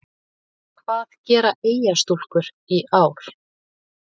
Hvað gera Eyjastúlkur í ár?